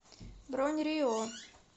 бронь рио